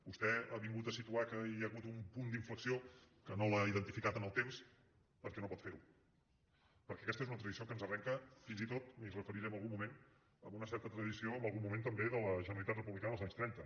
vostè ha vingut a situar que hi ha hagut un punt d’inflexió que no l’ha identificat en el temps perquè no pot fer ho perquè aquesta és una tradició que ens arrenca fins i tot m’hi referiré en algun moment amb una certa tradició en algun moment també de la generalitat republicana dels anys trenta